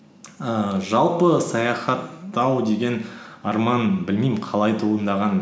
ііі жалпы саяхаттау деген арман білмеймін қалай туындаған